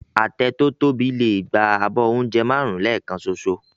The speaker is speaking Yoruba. Àtẹ tó tóbi lè gba abọ́ oúnjẹ márùn-ún lẹ́ẹ̀kan ṣoṣo